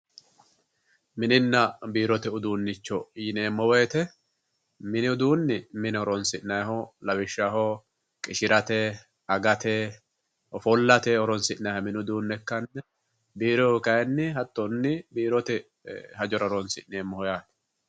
Mininna biirote uduuncho yineemmo woyte mini uduuni mine horonsi'nanniho lawishshaho qishirate, agate ofollate horonsi'nanniha mini uduune ikkanna, biirohu kayinni hattoni biirote hajjora horonsi'neemmo yaate.